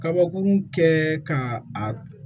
Kabakurun kɛ k'a a